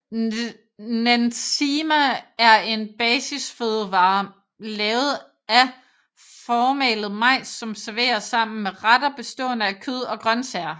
Nsima er en basisfødevare lavet af formalet majs som serveres sammen med retter bestående af kød og grøntsager